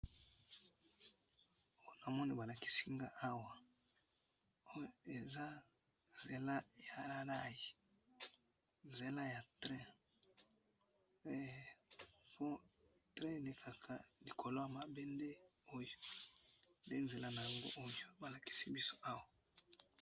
Namoni balakisi nga awa, oyo eza nzela ya rays, nzela ya train, eh! Train elekaka likolo yamabende oyo, nde nzela nayango oyo balakisi biso awa.